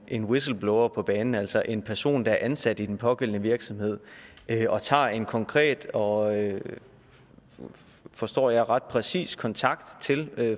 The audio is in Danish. en whistleblower på banen altså en person der er ansat i den pågældende virksomhed og tager en konkret og forstår jeg ret præcis kontakt til